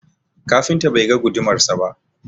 Kafinta bai ga gudumarsa ba.